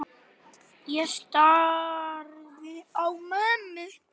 Ég starði á mömmu.